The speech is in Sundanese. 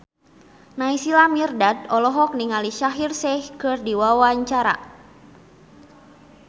Naysila Mirdad olohok ningali Shaheer Sheikh keur diwawancara